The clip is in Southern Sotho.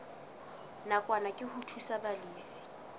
nakwana ke ho thusa balefi